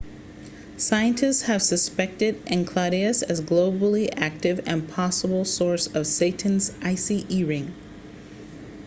scientists have suspected enceladus as geologically active and a possible source of saturn's icy e ring